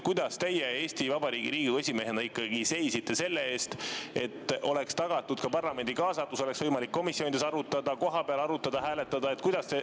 Kuidas teie Eesti Vabariigi Riigikogu esimehena ikkagi tegelikult seisite selle eest, et oleks tagatud ka parlamendi kaasatus, oleks võimalik komisjonides arutada, kohapeal arutada ja hääletada?